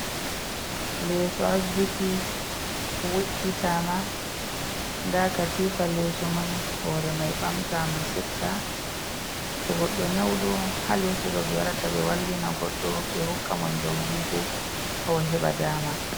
Leso asbiti we’itama nda katifa leso may. Hore may ɓamta ma seɗɗa. To goɗɗo nyawɗo ha leso ɗo ɓe warata ɓe wallina goɗɗo ɓe hokka mo nyaw ndigu ha o waheba dama.